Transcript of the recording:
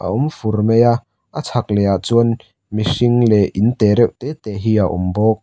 a awm fur mai a a chhak leh ah chuan mihring leh inte reuh te te hi a awm bawk.